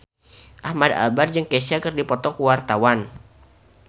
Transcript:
Ahmad Albar jeung Kesha keur dipoto ku wartawan